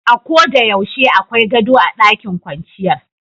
A'ko de yaushe akwai gado a ɗakin kwanciyar.